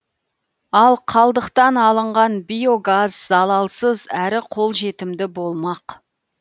ал қалдықтан алынған биогаз залалсыз әрі қолжетімді болмақ